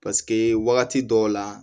Paseke wagati dɔw la